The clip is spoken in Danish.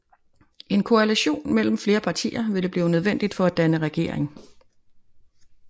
En koalition mellem flere partier ville blive nødvendig for at danne regering